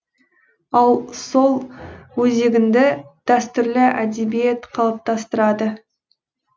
ал сол өзегіңді дәстүрлі әдебиет қалыптастырады